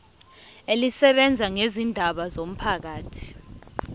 elisebenza ngezindaba zomphakathi